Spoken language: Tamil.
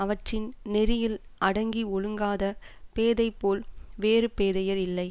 அவற்றின் நெறியில் அடங்கி ஒழுங்காதப் பேதை போல் வேறு பேதையர் இல்லை